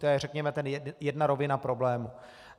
To je řekněme ta jedna rovina problému.